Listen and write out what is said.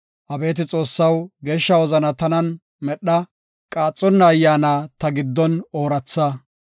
Abeeti Xoossaw, geeshsha wozana tanan medha; qaaxonna ayyaana ta giddon ooratha.